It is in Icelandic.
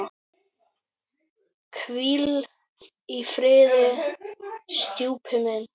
Hvíl í friði, stjúpi minn.